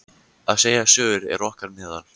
Að segja sögur er okkar meðal.